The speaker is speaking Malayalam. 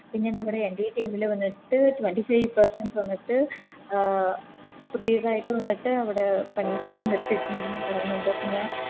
പിന്നെ നമ്മുട NDATeam ല് വന്നിട്ട് Twenty five persons വന്നിട്ട് അഹ് പുതിയതായിട്ട് വന്നിട്ട് അവിടെ പണിക്കെ നിർത്തി വെച്ണ്ട് ന്ന് പറയന്നിണ്ട് പിന്നെ